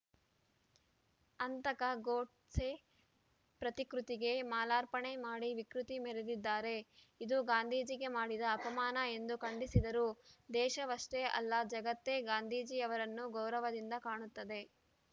ಹಂತಕ ಗೂಡ್ಸೆ ಪ್ರತಿಕೃತಿಗೆ ಮಾಲಾರ್ಪಣೆ ಮಾಡಿ ವಿಕೃತಿ ಮೆರೆದಿದ್ದಾರೆ ಇದು ಗಾಂಧೀಜಿಗೆ ಮಾಡಿದ ಅಪಮಾನ ಎಂದು ಖಂಡಿಸಿದರು ದೇಶವಷ್ಟೆಅಲ್ಲ ಜಗತ್ತೇ ಗಾಂಧೀಜಿಯವರನ್ನು ಗೌರವದಿಂದ ಕಾಣುತ್ತದೆ